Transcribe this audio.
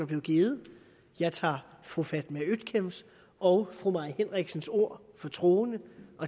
blevet givet jeg tager fru fatma øktems og fru mai henriksens ord for troende